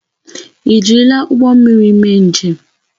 Ị jirila ụgbọ mmiri mee njem?